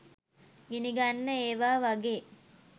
ගිනිගන්න ඒවා වගේ